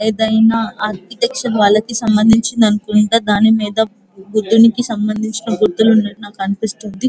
ఏదైనా ఆర్కిటెక్చర్ వాళ్ళకి సంబంధించింది అనుకుంట దాని మీద బుద్ధునికి సంబంధించిన గుర్తులు ఉన్నటు అనిపిస్తుంది.